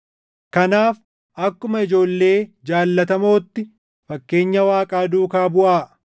Kanaaf akkuma ijoollee jaallatamootti fakkeenya Waaqaa duukaa buʼaa;